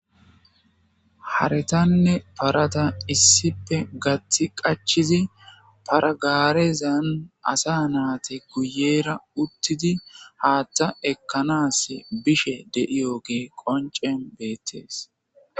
Haaratanne parata issi bolla qachchidi para garezza bolla asati uttidi haththa ekanas bishshe dettes.